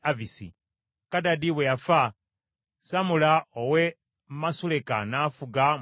Kadadi bwe yafa, Samula ow’e Masuleka n’afuga mu kifo kye.